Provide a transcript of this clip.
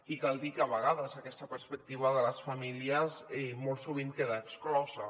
i cal dir que a vegades aquesta perspectiva de les famílies molt sovint queda exclosa